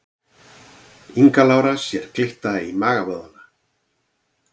Inga Lára sér glitta í magavöðvana